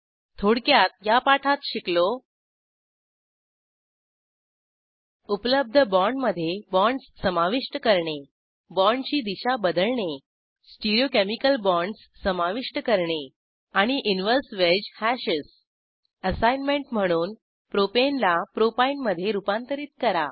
थोडक्यात या पाठात शिकलो उपलब्ध बाँडमधे बाँडस समाविष्ट करणे बाँडची दिशा बदलणे स्टिरीओकेमिकल बाँडस समाविष्ट करणे आणि इनव्हर्स वेज हॅशेस असाईनमेंट म्हणून प्रोपाने ला प्रोपीने मधे रूपांतरित करा